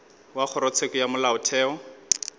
wa kgorotsheko ya molaotheo o